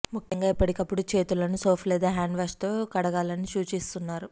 ముఖ్యంగా ఎప్పటికప్పుడు చేతులను సోప్ లేదా హ్యాండ్ వాష్ తో కడగాలి అని సూచిస్తున్నారు